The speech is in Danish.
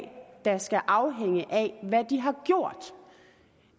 da skal afhænge af hvad de har gjort